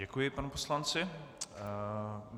Děkuji panu poslanci.